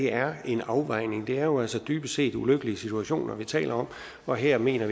er en afvejning det er jo altså dybest set ulykkelige situationer vi taler om og her mener